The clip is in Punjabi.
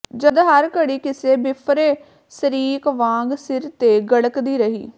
ਜਦ ਹਰ ਘੜੀ ਕਿਸੇ ਬਿੱਫਰੇ ਸ਼ਰੀਕ ਵਾਂਗ ਸਿਰ ਤੇ ਗੜ੍ਹਕਦੀ ਰਹੀ